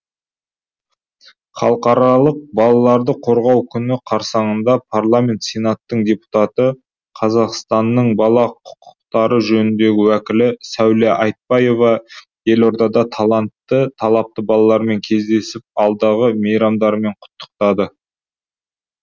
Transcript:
халықаралық балаларды қорғау күні қарсаңында парламент сенатының депутаты қазақстанның бала құқықтары жөніндегі уәкілі сәуле айтпаева елордада таланты талапты балалармен кездесіп алдағы мейрамдарымен құттықтады